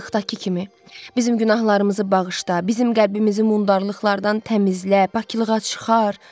Uşaqlıqdakı kimi, bizim günahlarımızı bağışla, bizim qəlbimizi mundarlıqlardan təmizlə, paklığa çıxar.